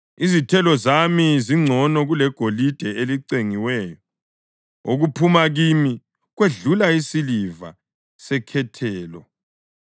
Izithelo zami zingcono kulegolide elicengiweyo; okuphuma kimi kwedlula isiliva sekhethelo.